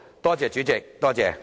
多謝主席。